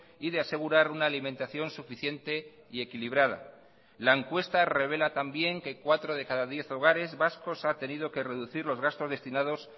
y de asegurar una alimentación suficiente y equilibrada la encuesta revela también que cuatro de cada diez hogares vascos ha tenido que reducir los gastos destinados